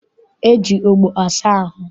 E ji ogbo asa ahụ.